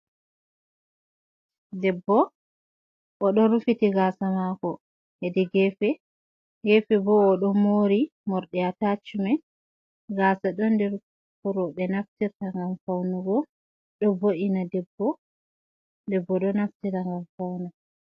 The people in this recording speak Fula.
Debbo, o ɗo rufiti gaasa maako hedi geefe, gefe bo o ɗo moori morɗi atachimen, gaasa ɗon nder ko roɓe naftirta ngam fawnugo, ɗo vo’ina debbo, debbo ɗo naftira ngam fawnugo.